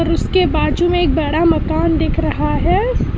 उसके के बाजू में एक बड़ा मकान दिख रहा है।